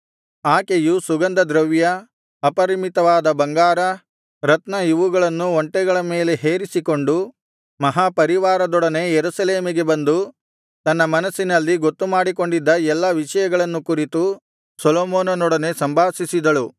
ಆಕೆಯು ಸುಗಂಧದ್ರವ್ಯ ಅಪರಿಮಿತವಾದ ಬಂಗಾರ ರತ್ನ ಇವುಗಳನ್ನು ಒಂಟೆಗಳ ಮೇಲೆ ಹೇರಿಸಿಕೊಂಡು ಮಹಾಪರಿವಾರದೊಡನೆ ಯೆರೂಸಲೇಮಿಗೆ ಬಂದು ತನ್ನ ಮನಸ್ಸಿನಲ್ಲಿ ಗೊತ್ತುಮಾಡಿಕೊಂಡಿದ್ದ ಎಲ್ಲಾ ವಿಷಯಗಳನ್ನು ಕುರಿತು ಸೊಲೊಮೋನನೊಡನೆ ಸಂಭಾಷಿಸಿದಳು